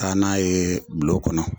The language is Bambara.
Taa n'a ye bulon kɔnɔ